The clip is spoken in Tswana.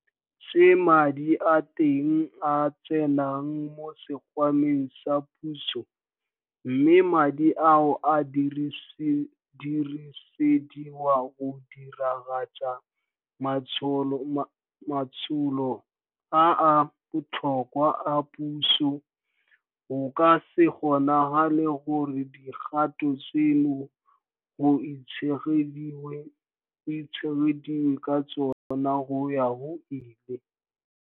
tse madi a teng a tsenang mo sekgwameng sa puso, mme madi ao a dirisediwa go diragatsa matsholo a a botlhokwa a puso, go ka se kgonagale gore dikgato tseno go itshegediwe ka tsona go ya go ile.